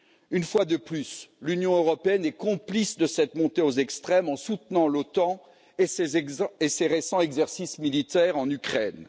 Une fois de plus, l'Union européenne est complice de cette montée aux extrêmes en soutenant l'OTAN et ses récents exercices militaires en Ukraine.